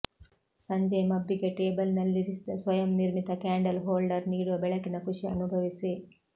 ಸಂಜೆಯ ಮಬ್ಬಿಗೆ ಟೇಬಲ್ನಲ್ಲಿರಿಸಿದ ಸ್ವಯಂ ನಿರ್ಮಿತ ಕ್ಯಾಂಡಲ್ ಹೋಲ್ಡರ್ ನೀಡುವ ಬೆಳಕಿನ ಖುಷಿ ಅನುಭವಿಸಿ